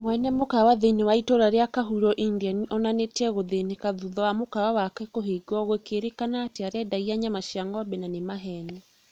Mwene mũkawa thĩinĩ wa itũra rĩa kahuro India onanĩtie gũthĩnĩka thutha wa mũkawa wake kũhingwo gũkĩrĩkana atĩ nĩarendagia nyama cia ngombe na nĩ maheni